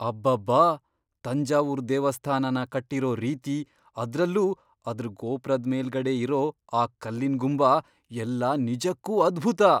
ಅಬ್ಬಬ್ಬಾ! ತಂಜಾವೂರ್ ದೇವಸ್ಥಾನನ ಕಟ್ಟಿರೋ ರೀತಿ, ಅದ್ರಲ್ಲೂ ಅದ್ರ್ ಗೋಪ್ರದ್ ಮೇಲ್ಗಡೆ ಇರೋ ಆ ಕಲ್ಲಿನ್ ಗುಂಬ ಎಲ್ಲ ನಿಜಕ್ಕೂ ಅದ್ಭುತ!